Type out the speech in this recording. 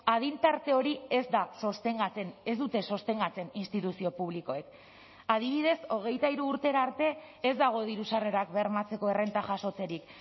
adin tarte hori ez da sostengatzen ez dute sostengatzen instituzio publikoek adibidez hogeita hiru urtera arte ez dago diru sarrerak bermatzeko errenta jasotzerik